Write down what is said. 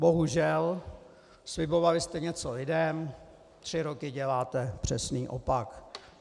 Bohužel slibovali jste něco lidem, tři roky děláte přesný opak.